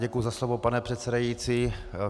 Děkuji za slovo, pane předsedající.